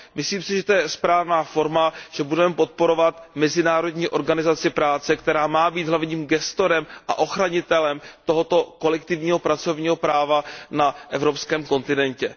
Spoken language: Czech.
Myslím si, že je to správná forma, že budeme podporovat Mezinárodní organizaci práce, která má být hlavním gestorem a ochranitelem tohoto kolektivního pracovního práva na evropském kontinentě.